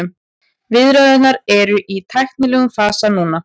Viðræðurnar eru í tæknilegum fasa núna